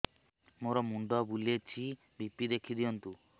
ମୋର ମୁଣ୍ଡ ବୁଲେଛି ବି.ପି ଦେଖି ଦିଅନ୍ତୁ